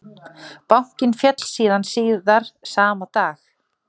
Bankinn féll síðan síðar sama dag